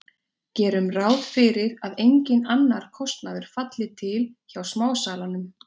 gerum ráð fyrir að enginn annar kostnaður falli til hjá smásalanum